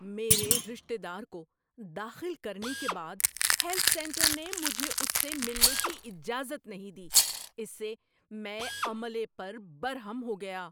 میرے رشتے دار کو داخل کرنے کے بعد ہیلتھ سینٹر نے مجھے اس سے ملنے کی اجازت نہیں دی۔ اس سے میں عملے پر برہم ہو گیا۔